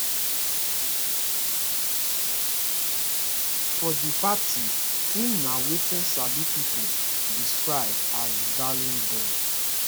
for di party im na wetin sabi pipo describe as darling boy